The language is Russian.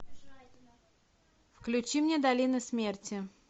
включи мне долина смерти